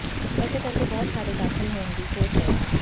ਇਸੇ ਕਰਕੇ ਬਹੁਤ ਸਾਰੇ ਦਾਖਲ ਹੋਣ ਦੀ ਸੋਚ ਰਹੇ ਹਨ